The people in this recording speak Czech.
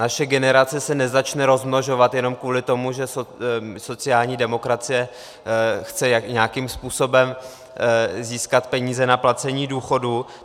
Naše generace se nezačne rozmnožovat jenom kvůli tomu, že sociální demokracie chce nějakým způsobem získat peníze na placení důchodů.